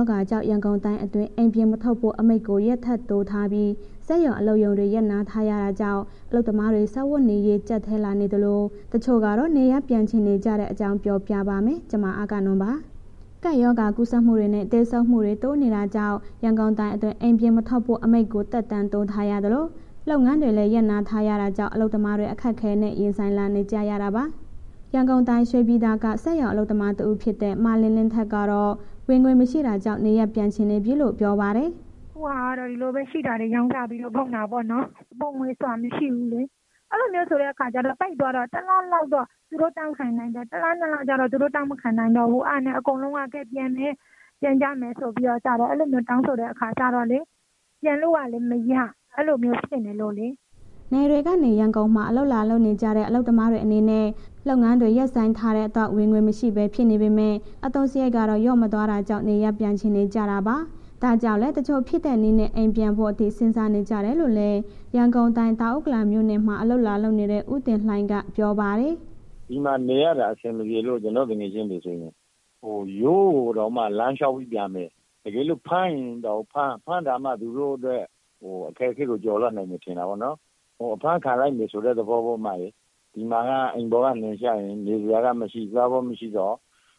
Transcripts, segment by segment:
ောဂါကြောင့် ရန်ကုန်တိုင်းအတွင်း အိမ်ပြင်မထွက်ဖို့ အမိန့်ကို ရက်ထပ်တိုးထားပြီး စက်ရုံ အလုပ်ရုံတွေ ရပ်နားထားရတာကြောင့် အလုပ်သမားတွေ စားဝတ်နေရေး ကြပ်တည်းလာနေသလို၊ တချို့ကတော့ နေရပ်ပြန်ချင်နေကြတဲ့အကြောင်း ပြောပြပါမယ်။ ဗွီအိုအေမြန်မာပိုင်းသတင်းထောက် မအဂ္ဂနွန်က ပြောပြပေးထားပါတယ်။ ကပ်ရောဂါကူးစက်မှုတွေနဲ့ သေဆုံးမှုတွေ တိုးနေတာတာကြောင့် ရန်ကုန်တိုင်းအတွင်း အိမ်ပြင်မထွက်ဖို့ အမိန့်ကို သက်တမ်းတိုးထားရသလို၊ လုပ်ငန်းတွေလည်း ရပ်နားထားရတာကြောင့် အလုပ်သမားတွေ အခက်အခဲနဲ့ ရင်ဆိုင်လာနေကြရတာပါ။ ရန်ကုန်တိုင်း ရွှေပြည်သာက စက်ရုံအလုပ်သမားတဦးဖြစ်တဲ့ မလင်းလင်းခိုင်ကတော့ ဝင်ငွေမရှိတာကြောင့် နေရပ်ပြန်ချင်ပြီလို့ ပြောပါတယ်။ “အခုဟာကတော့ ရှိတာလေးကို ရောင်းစားပြီးတော့ ကုန်တာပေါ့နော်၊ အပိုငွေဆိုတာ မရှိဘူးလေ၊ အဲ့လိုမျိုးဆိုတဲ့အခါကျတော့ တိုက်သွားတော့ တစ်လလောက် သူတို့တောင့်ခံနိုင်တယ်၊ တစ်လ နှစ်လကျတော့ သူတို့ တောင့်မခံနိုင်တော့ဘူး၊ အဲ့ဒါနဲ့ အကုန်လုံးက ကဲ ပြန်မယ်၊ ပြန်ကြမယ်ဆိုတော့ အဲ့လိုမျိုး တောင်းဆိုတယ်ဆိုတဲ့အခါကျတော့လေး ပြန်လို့လည်း မရ အဲ့လိုမျိုးဖြစ်နေလို့လေ။” နယ်တွေကနေ ရန်ကုန်မှာ အလုပ်လာလုပ်နေကြတဲ့ အလုပ်သမားတွေ အနေနဲ့ လုပ်ငန်းတွေ ရပ်ဆိုင်းထားတဲ့အတွက် ဝင်ငွေမရှိဘဲ ဖြစ်နေပေမဲ့ အသုံးစရိတ်တွေက လျော့မသွားတာကြောင့် နေရပ်ပြန်ချင်နေကြတာပါ။ ဒါကြောင့်လည်း တချို့ဖြစ်တဲ့နည်းနဲ့ အိမ်ပြန်ဖို့အထိ စဉ်းစားနေကြတယ်လို့လည်း ရန်ကုန်တိုင်း တောင်ဥက္ကလာပမြို့နယ်မှာ အလုပ်လာလုပ်နေတဲ့ ဦးတင်လှိုင်က ပြောပါတယ်။ “ဒီမှာနေရတာ အဆင်မပြေလို့ ကျနော်သူငယ်ချင်းတွေဆိုရင် ဟိုရွာကိုတောင်မှ လမ်းလျှောက်ပြီးပြန်မယ်၊ တကယ်လို့ ဖမ်းရရင်တောင်ဖမ်း၊ ဖမ်းတာမှ သူတို့အတွက် အခက်အခဲကို ကျော်လွှားနိုင်မယ်ထင်တာပေါ့နော်၊ ဟို အဖမ်းခံလိုက်မယ်ဆိုတဲ့ သဘောပေ့ါ၊ ဒီမှာက အိမ်ပေါ်က နင်းချရင် နေစရာကမရှိ၊ သွားဖို့မရှိတော့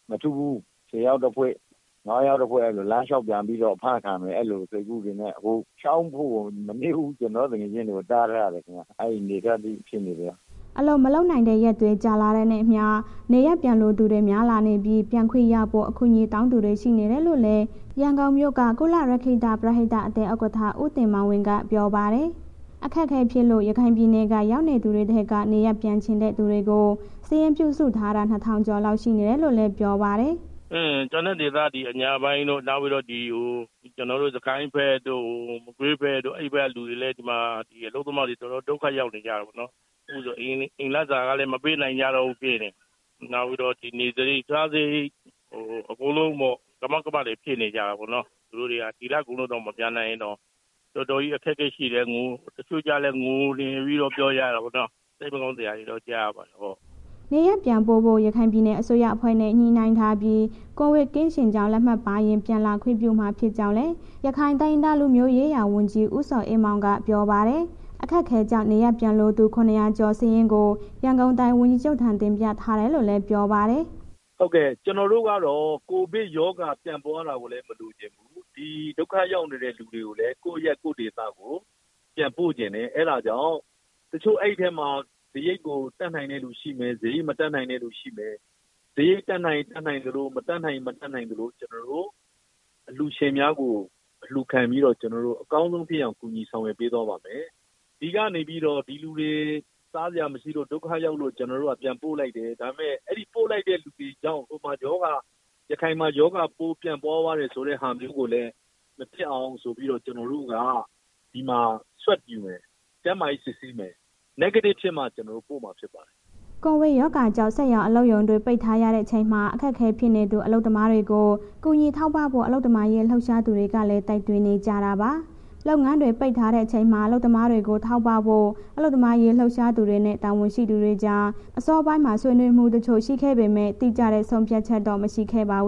မထင်ဘူး၊ ၁၀ ယောက်တစ်ဖွဲ့ ၅ ယောက်တစ်ဖွဲ့ အဲ့လို လမ်းလျှောက်ပြန်ပြီးတော့ အဖမ်းခံမယ်၊ အဲ့လို စိတ်ကူးပေမဲ့ အခု မနည်းဘူး။ ကျနော်တို့ သူငယ်ချင်းတွေကို တားထားတယ်ခင်ဗျ၊ အဲ့အနေအထားထိဖြစ်နေတယ်။” အလုပ်မလုပ်နိုင်တဲ့ရက်တွေ ကြာလာတာနဲ့အမျှ နေရပ်ပြန်လိုသူတွေ များလာနေပြီး ပြန်ခွင့်ရဖို့ အကူအညီတောင်းသူတွေ ရှိနေတယ်လို့လည်း ရန်ကုန်မြို့က ကုလရက္ခိတ ပရဟိတအသင်း ဥက္ကဋ္ဌ ဦးတင်မောင်ဝင်းက ပြောပါတယ်။ အခက်အခဲဖြစ်လို့ ရခိုင်ပြည်နယ်က ရောက်နေသူတွေထဲက နေရပ်ပြန်ချင်တဲ့ သူတွေကို စာရင်းပြုစုထားတာ ၂,၀၀၀ ကျော်လောက် ရှိနေတယ်လို့လည်း ပြောပါတယ်။ “အင်း။ ကျန်တဲ့ ဒေသက အညာပိုင်းတို့ နောက်ပြီးတော့ စစ်ကိုင်းဘက်တို့၊ မကွေးဘက်တို့ အဲ့ဘက်ကလူတွေလည်း အလုပ်သမားတွေ တော်တော်ဒုက္ခရောက်နေကြတယ်ပေါ့နော်၊ အိမ်လစာကလည်း မပေးနိုင်ကြတော့ဘူးဖြစ်နေတယ်၊ နောက်ပြီးတော့ နေစရိတ် စားစရိတ် အကုန်လုံးပေါ့၊ ကမောက်ကမတွေ ဖြစ်နေကြတာပေါ့နော်၊ သူတို့တွေက ဒီလကုန်လောက်ရင် မပြန်နိုင်ရင် တော်တော်လေး အခက်အခဲရှိတယ်၊ တချို့ကျလည်း ငိုနေပြီးတော့ ပြောကြတာပေါ့နော်။ စိတ်မကောင်းစရာလေးတွေ ကြားရပါတယ်။” နေရပ်ပြန်ပို့ဖို့ ရခိုင်ပြည်နယ် အစိုးရအဖွဲ့နဲ့ ညှိနှိုင်းထားပြီး ကိုဗစ်ကင်းရှင်းကြောင်း ထောက်ခံစာပါရင် ပြန်လာခွင့်ပြုမှာဖြစ်ကြောင်းလည်း ရခိုင်တိုင်းရင်းသားလူမျိုးရေးရာ ဝန်ကြီး ဦးဇော်အေးမောင်က ပြောပါတယ်။ အခက်အခဲတွေကြောင့် နေရပ်ပြန်လိုသူ ၇၀၀ ကျော် စာရင်းကို ရန်ကုန်တိုင်း ဝန်ကြီးချုပ်ထံ တင်ပြထားတယ်လို့လည်း ပြောပါတယ်။ “ဟုတ်ကဲ့။ ကျနော်တို့ကတော့ ကိုဗစ်ရောဂါပြန့်ပွားတာကိုလည်း မလိုချင်ဘူး၊ ဒီဒုက္ခရောက်နေတဲ့ လူတွေကိုလည်း ကိုယ့်အရပ် ကိုယ့်ဒေသကို ပြန်ပို့ချင်တယ်၊ အဲ့ဒါကြောင့် တချို့ အဲ့ထဲမှာ စရိတ်ကို တတ်နိုင်တဲ့ လူရှိမယ်၊ စရိတ်မတတ်နိုင်တဲ့ လူရှိမယ်၊ စရိတ်တတ်နိုင်ရင် တတ်နိုင်သလို မတတ်နိုင်ရင် မတတ်နိုင်သလို ကျနော်တို့ အလှူရှင်များကို အလှူခံပြီးတော့ ကျနော်တို့ အကောင်းဆုံးဖြစ်အောင် ကူညီဆောင်ရွက် ပေးသွားပါမယ်။ ဒီကနေပြီးတော့ ဒီလူတွေ စားစရာမရှိလို့ ဒုက္ခရောက်လို့ ကျနော်တို့က ပြန်ပို့လိုက်တယ်။ ဒါပေမဲ့ အဲ့ပို့လိုက်တဲ့ လူတွေကြောင့် ဟိုမှာ ရောဂါ ရခိုင်မှာ ရောဂါပိုးပြန့်ပွားသွားတယ်ဆိုတဲ့ဟာမျိုးကိုလည်း မဖြစ်အောင်ဆိုပြီးတော့ ကျနော်တို့က ဒီမှာ Swanb ယူမယ်၊ ကျန်းမာရေးစစ်ဆေးမယ် Negative ဖြစ်မှ ကျနော်တို့ ပို့မှာဖြစ်ပါတယ်။” ကပ်ရောဂါကြောင့် စက်ရုံအလုပ်ရုံတွေ ပိတ်ထားရတဲ့အချိန်မှာ အခက်အခဲဖြစ်နေတဲ့ အလုပ်သမားတွေကို ကူညီထောက်ပံ့ဖို့ အလုပ်သမားရေး လှုပ်ရှားသူတွေကလည်း တိုက်တွန်းနေကြတာပါ။ လုပ်ငန်းတွေ ပိတ်ထားချိန်မှာ အလုပ်သမားတွေကို ထောက်ပံ့ဖို့ အလုပ်သမားရေးလှုပ်ရှားသူတွေနဲ့ တာဝန်ရှိသူတွေကြား အစောပိုင်းမှာ ဆွေးနွေးမှုတချို့ ရှိခဲ့ပေမဲ့ တိကျတဲ့ဆုံးဖြတ်ချက်တော့ မရှိခဲ့ပါဘူး။